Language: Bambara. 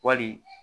Wali